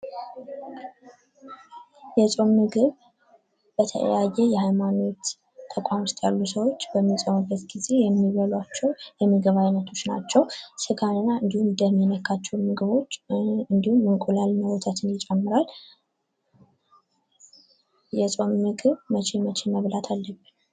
የጾም ምግብ በተለያየ የሃይማኖት ተቋም ውስጥ ያሉ ሰዎች በሚጾሙበት ጊዜ የሚበሏቸው የምግብ አይነቶች ናቸው። ስጋና እንድሁም ደም የነካቸውን ምግቦች እንድሁም እንቁላልና ወተትን ይጨምራል የጾም ምግብ መቼ መቼ መብላት አለብን?